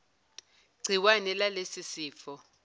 gciwane lalesi sifo